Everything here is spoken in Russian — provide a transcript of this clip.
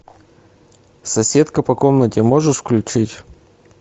соседка по комнате можешь включить